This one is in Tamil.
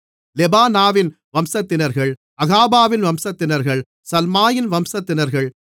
லெபானாவின் வம்சத்தினர்கள் அகாபாவின் வம்சத்தினர்கள் சல்மாயின் வம்சத்தினர்கள்